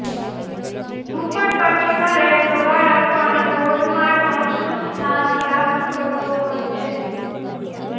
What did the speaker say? ઝુંપડપટ્ટીમાં રહેતો બાળક પણ બોર્ડમાં ટોચનું સ્થાન પ્રાપ્ત કરતો હોય છે